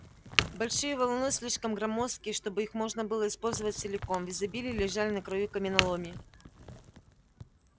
большие валуны слишком громоздкие чтобы их можно было использовать целиком в изобилии лежали на краю каменоломни